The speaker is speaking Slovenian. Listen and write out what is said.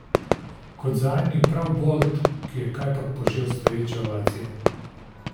Kot zadnji prav Bolt, ki je kajpak požel stoječe ovacije.